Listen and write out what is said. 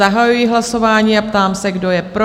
Zahajuji hlasování a ptám se, kdo je pro?